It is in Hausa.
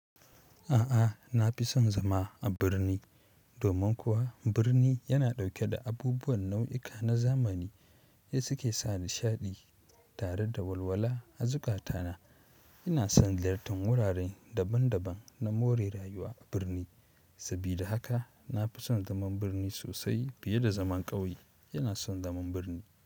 A'a, na fi son zama a birni. Domin kuwa birni yana dauke da abubuwan nauyuka na zamani, su suke sa nishadi tare da walwala a zukata na ina son ziyartar wurare daban daban na more rayuwa a birni. Sabida haka na fi son zaman birni sosai fiye da zaman ƙauye. Ina son zaman birni.